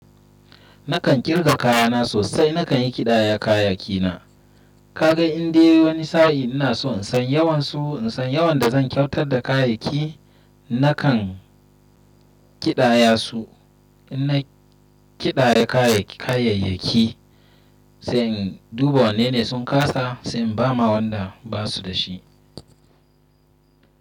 Nakan kirga kayana sosai. Nakan yi kidaya kayayyakina. Kaga indai wani sa'in ina so in san yawan su, in san yawan da zan kyautar da kayayyaki, nakan kidaya su. In na kidaya kayayyaki, sai in duba wanne ne sun kasa, sai in ba ma wanda basu da shi.